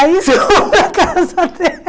Aí fomos para a casa dela.